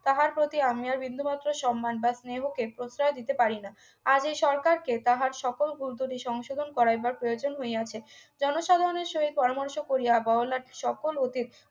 তাহার প্রতি আমি আর বিন্দুমাত্র সম্মান বা স্নেহকে প্রশ্রয় দিতে পারি না আজ এই সরকারকে তাহার সকল ভুল ত্রুটি সংশোধন করা একবার প্রয়োজন হইয়াছে জনসাধারণের সহিত পরামর্শ করিয়া বড়লাট সকল অতীত